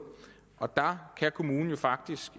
og der kan kommunen jo faktisk